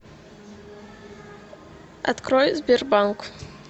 открой сбербанк